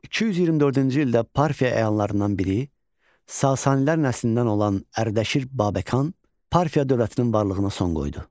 224-cü ildə Parfiya əyanlarından biri, Sasanilər nəslindən olan Ərdəşir Babəkan Parfiya dövlətinin varlığına son qoydu.